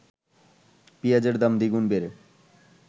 পেঁয়াজের দাম দ্বিগুণ বেড়ে